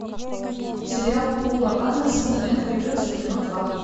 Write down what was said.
сериал пола андерсона энгри бердс в кино два